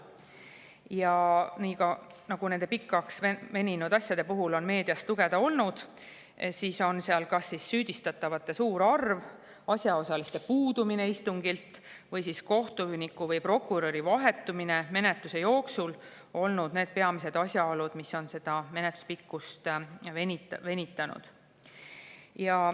Ja nii nagu nende pikaks veninud asjade puhul on meediast lugeda, on seal kas süüdistatavate suur arv, asjaosaliste puudumine istungilt või kohtuniku või prokuröri vahetumine menetluse jooksul olnud need peamised asjaolud, mis on menetlust venitanud.